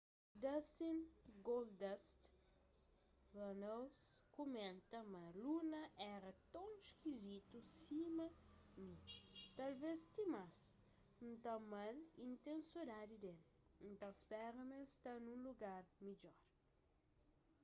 dustin goldust” runnels kumenta ma luna éra ton iskizitu sima mi...talves ti más...n ta ama-l y n ten sodadi d-el...n ta spera ma el sta nun lugar midjor.